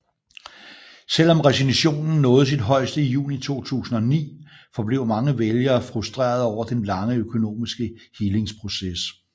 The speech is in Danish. Selvom recessionen nåede sit højeste i juni 2009 forblev mange vælgere frustrerede over den lange økonomiske helingsproces